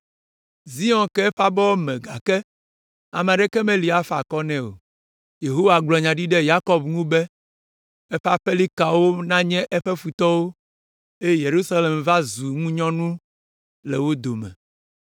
Zion ke eƒe abɔwo me gake ame aɖeke meli si afa akɔ nɛ o. Yehowa gblɔ nya ɖi ɖe Yakob ŋu be eƒe aƒelikawo nanye eƒe futɔwo eye Yerusalem va zu ŋunyɔnu le wo dome.